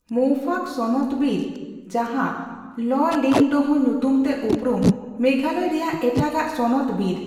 ᱢᱚᱣᱯᱷᱟᱠ ᱥᱚᱱᱚᱛ ᱵᱤᱨ, ᱡᱟᱦᱟᱸ ᱞᱚ ᱞᱤᱝᱰᱳᱦᱚ ᱧᱩᱛᱩᱢ ᱛᱮ ᱩᱯᱨᱩᱢ, ᱢᱮᱜᱷᱟᱞᱚᱭ ᱨᱮᱭᱟᱜ ᱮᱴᱟᱜ ᱟᱜ ᱥᱚᱱᱚᱛ ᱵᱤᱨ ᱾